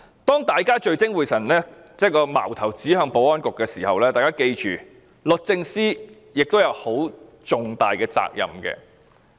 當大家聚精會神把矛頭指向保安局的時候，大家記住，律政司亦要負很大責任。